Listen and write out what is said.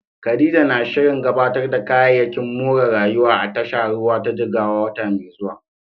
Khadija na shirin gabatar da kayayyakin more rayuwa a tashar ruwa ta Jigawa a wata mai zuwa.